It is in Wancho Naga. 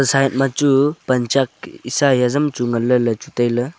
side ma chu pan chak sai hajam chu ngan le la chu taile.